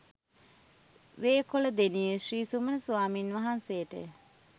වේකොළදෙණියේ ශ්‍රී සුමන ස්වාමීන් වහන්සේට ය.